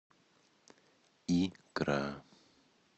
икра